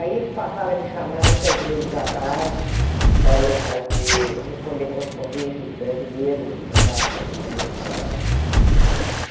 Aí eles passaram a me chamar muitas vezes à tarde para eu fazer, responder correspondências de brasileiros que mandavam correspondência para lá.